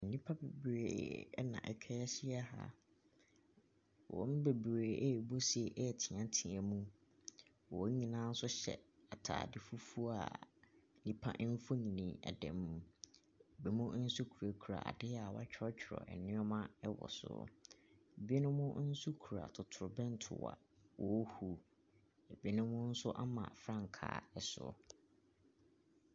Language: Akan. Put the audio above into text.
Nnipa bebree na atwa ahyia ha, wɔn mu bebree ɛrebɔ se ɛreteatea mu, wɔn nyinaa nso hyɛ ataade fufuo a nipa bi mfonini da mu. Binom nso kurakura adeɛ a wɔatwerɛtwerɛ nneɛma gu so, binom nso kura totorobɛnto a wɔrehu, binom nso ama frankaa so.